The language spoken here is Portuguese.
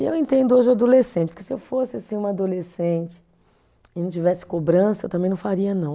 E eu entendo hoje o adolescente, porque se eu fosse assim uma adolescente e não tivesse cobrança, eu também não faria não.